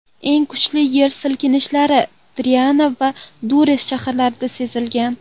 Eng kuchli yer silkinishlari Tirana va Durres shaharlarida sezilgan.